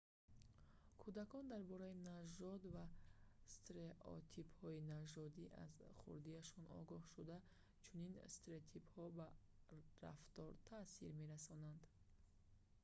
кӯдакон дар бораи нажод ва стереотипҳои нажодӣ аз хурдиашон огоҳ шуда чунин стереотипҳо ба рафтор таъсир мерасонанд